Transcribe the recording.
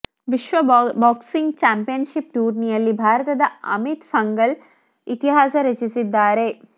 ವಿಶ್ವ boxing championship ಟೂರ್ನಿಯಲ್ಲಿ ಭಾರತದ ಅಮಿತ್ ಪಂಘಲ್ ಇತಿಹಾಸ ರಚಿಸಿದ್ದಾರೆ